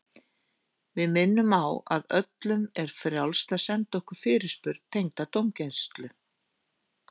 Við minnum á að öllum er frjálst að senda okkur fyrirspurn tengda dómgæslu.